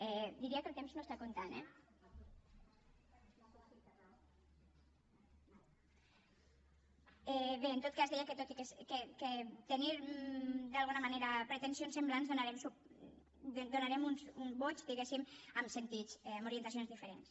diria que el temps no està comptant eh bé en tot cas deia que tot i tenir d’alguna manera pretensions semblants donarem uns vots diguéssim amb sentits amb orientacions diferents